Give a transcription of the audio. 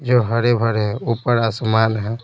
जो हरे भरे ऊपर आसमान है।